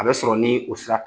A bɛ sɔrɔ ni o sira fɛ